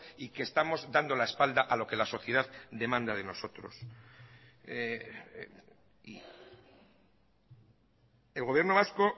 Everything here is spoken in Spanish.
y que estamos dando la espalda a lo que la sociedad demanda de nosotros el gobierno vasco